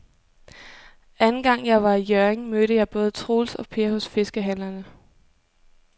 Anden gang jeg var i Hjørring, mødte jeg både Troels og Per hos fiskehandlerne.